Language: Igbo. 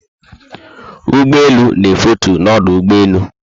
Ụgbọelu na efetu na ọdụ ụgbọelu